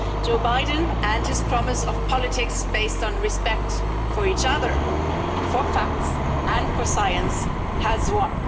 Joe Biden and his promise of politics based on respect for each other, for facts, and for science has won.